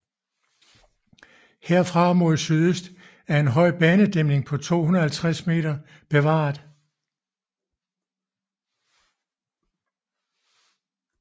Herfra mod sydøst er en høj banedæmning på 250 meter bevaret